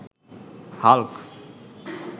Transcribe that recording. Hulk